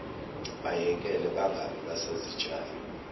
bayekele bangabe basazitshala